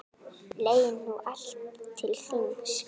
Leið nú allt til þings.